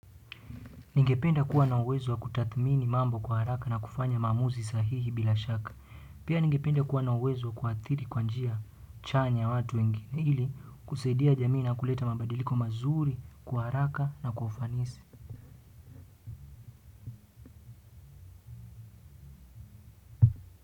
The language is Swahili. Ningependa kuwa na uwezo wa kutathmini mambo kwa haraka na kufanya maamuzi sahihi bila shaka. Pia ningependa kuwa na uwezo wa kuathiri kwa njia chanya watu ili kusaidia jamii na kuleta mabadiliko mazuri kwa haraka na kwa ufanisi.